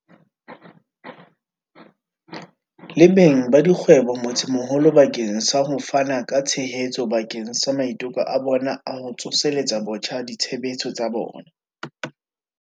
le beng ba dikgwebo motsemoholo bakeng sa ho fana ka tshehetso bakeng sa maiteko a bona a ho tsoseletsa botjha ditshebetso tsa bona.